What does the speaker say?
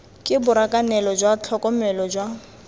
ke borakanelo jwa tlhokomelo jwa